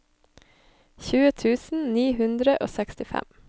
tjue tusen ni hundre og sekstifem